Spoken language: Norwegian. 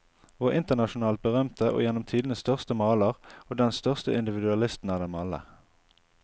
Vår internasjonalt berømte og gjennom tidene største maler, og den største individualisten av dem alle.